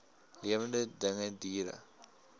lewende dinge diere